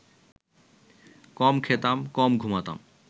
কম খেতাম, কম ঘুমাতাম